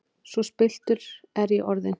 Svo spilltur er ég orðinn!